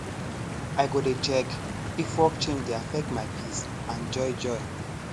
i go dey check if work change dey affect my peace and joy joy